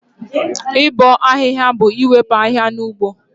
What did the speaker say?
Ịbọ ahịhịa bụ iwepụ ahịhịa na ugbo